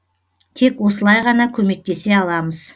тек осылай ғана көмектесе аламыз